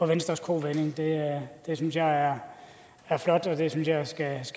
venstres kovending det synes jeg er flot og det synes jeg skal